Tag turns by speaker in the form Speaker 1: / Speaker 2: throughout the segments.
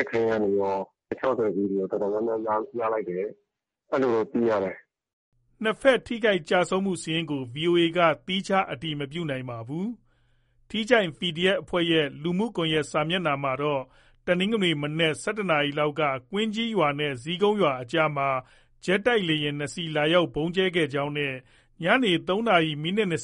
Speaker 1: က်ခဲယမ်းတွေရော၊ ၆၀ သီးတွေရော တော်တော်များများ ရလိုက်တယ်တဲ့။ အဲလိုတော့ သိရတယ်။
Speaker 2: ” နှစ်ဘက် ထိခိုက်၊ ကျဆုံးမှုစာရင်းကို ဗွီအိုအေက သီးခြား အတည် မပြုနိုင်ပါဘူး။ ထီးချိုင့် PDF အဖွဲ့ရဲ့ လူမှုကွန်ရက် စာမျက်နှာမှာတော့ တနင်္ဂနွေနေ့ မနက် ၁၁ နာရီလောက်က ကွင်းကြီးရွာနဲ့ ဇီးကုန်းရွာအကြားမှာ ဂျက်တိုက်လေယာဉ် ၂ စီး လာရောက် ဗုံးကြဲခဲ့ကြောင်းနဲ့ ညနေ ၃ နာရီ ၂၀ မိနစ်နဲ့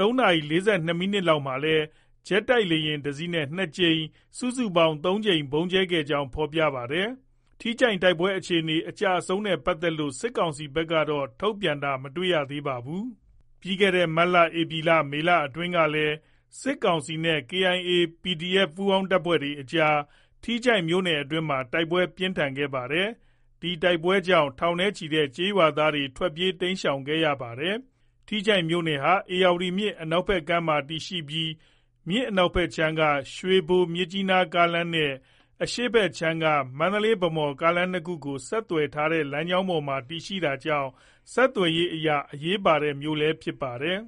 Speaker 2: ၃ နာရီ ၄၂ မိနစ်လောက်မှာလည်း ဂျက်တိုက်လေယာဉ် ၁ စီးနဲ့ ၂ ကြိမ်၊ စုစုပေါင်း ၃ ကြိမ် ဗုံးကြဲခဲ့ကြောင်း ဖော်ပြပါတယ်။ ထီးချိုင့် တိုက်ပွဲအခြေအနေ၊ အကျအဆုံးတွေနဲ့ ပတ်သက်လို့ စစ်ကောင်စီဘက်ကတော့ ထုတ်ပြန်တာ မတွေ့ရသေးပါဘူး။ ပြီးခဲ့တဲ့ မတ်၊ ဧပြီ၊ မေလ အတွင်းကလည်း စစ်ကောင်စီနဲ့ KIA ၊ PDF ပူးပေါင်းတပ်တွေအကြား ထီးချိုင့်မြို့နယ်အတွင်းမှာ တိုက်ပွဲ ပြင်းထန်ခဲ့ပါတယ်။ ဒီ တိုက်ပွဲတွေကြောင့် ထောင်နဲ့ချီတဲ့ ရွာသားတွေ တိမ်းရှောင်ခဲ့ရဖူးပါတယ်။ ထီးချိုင့်မြို့နယ်ဟာ ဧရာဝတီမြစ် အနောက်ဘက်ကမ်းမှာ တည်ရှိပြီး မြစ် အနောက်ခြမ်းက ရွှေဘို-မြစ်ကြီးနား ကားလမ်းနဲ့ အရှေ့ခြမ်းက မန္တလေး-ဗန်းမော် ကားလမ်းနှစ်ခုကို ဆက်သွယ်ထားတဲ့ လမ်းကြောင်းပေါ်မှာ တည်ရှိတာကြောင့် ဆက်သွယ်ရေးအရ အရေးပါတဲ့မြို့လည်း ဖြစ်ပါတယ်။